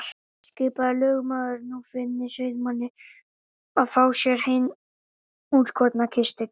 Skipaði lögmaður nú Finni sauðamanni að fá sér hinn útskorna kistil.